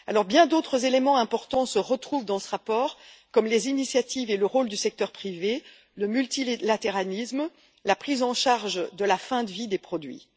Bien d'autres éléments importants se retrouvent également dans ce rapport comme les initiatives et le rôle du secteur privé, le multilatéralisme et la prise en charge de la fin de vie des produits.